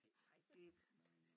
Nej nej det